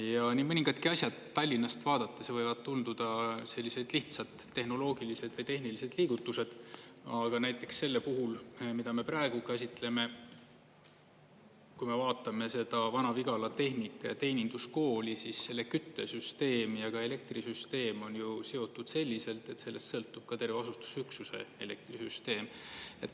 Ja nii mõningadki asjad Tallinnast vaadates võivad tunduda sellised lihtsad, tehnoloogilised või tehnilised liigutused, aga näiteks selle puhul, mida me praegu käsitleme, kui me vaatame seda Vana-Vigala Tehnika- ja Teeninduskooli, siis selle küttesüsteem ja elektrisüsteem on ju seotud selliselt, et sellest sõltub ka terve asustusüksuse elektrisüsteem.